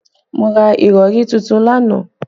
Mo ra ìrọ̀rí tuntun lánàá